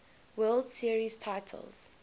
world series titles